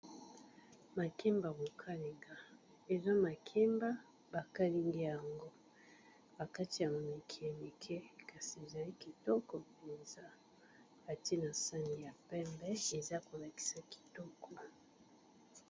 Makemba ya ko kalinga, eza makemba ba kalingi yango ba kati yango mike mike kasi ezali kitoko mpenza atie na sani ya pembe eza ko lakisa kitoko.